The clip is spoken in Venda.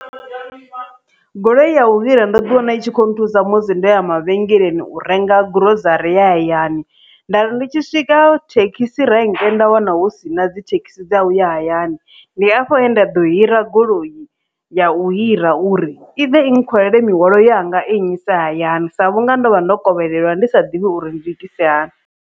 Goloi ya u hira ndo ḓi wana i tshi khou nthusa musi ndo ya mavhengeleni u renga gurozari ya hayani, ndari ndi tshi swika thekhisi renke nda wana hu sina dzithekhisi dza u ya hayani. Ndi afho he nda ḓo hira goloi ya u hira uri i ḓe i nkhwalele mihwalo yanga i nnyise hayani sa vhunga ndo vha ndo kovhelwa ndi sa ḓivhi uri ndi itise hani.